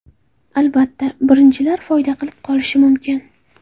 Albatta, birinchilar foyda qilib qolishi mumkin.